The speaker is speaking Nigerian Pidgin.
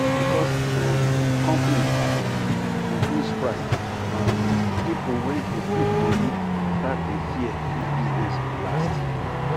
because um company um increase price um pipo we dey put money start dey fear if business go last